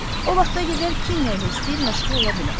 O vaxta qədər kim nə ilə istəyir məşğul ola bilər.